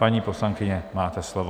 Paní poslankyně, máte slovo.